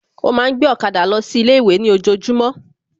Ó ma ń gbé ọ̀kadà lọ sí ilé ìwé ní ojojúmọ́